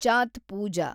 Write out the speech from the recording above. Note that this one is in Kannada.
ಚಾತ್ ಪೂಜಾ